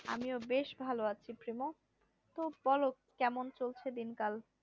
আমিও বেশ ভালো আছি প্রিমো তো বোলো কেমন চলছে দিন কাল